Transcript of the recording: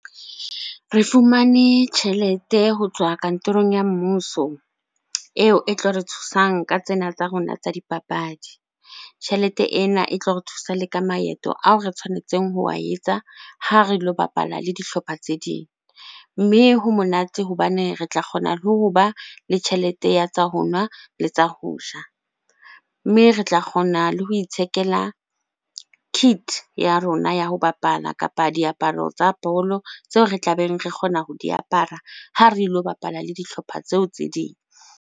Re fumane tjhelete ho tswa kantorong ya mmuso eo e tlo re thusang ka tsena tsa rona tsa dipapadi. Tjhelete ena e tlo re thusa le ka maeto ao re tshwanetseng ho wa etsa ha re lo bapala le dihlopha tse ding. Mme ho monate hobane re tla kgona le hoba le tjhelete ya tsa ho nwa le tsa ho ja. Mme re tla kgona le ho ithekela kit ya rona ya ho bapala kapa diaparo tsa bolo tseo re tlabeng re kgona ho di apara ha re lo bapala le dihlopha tseo tse ding.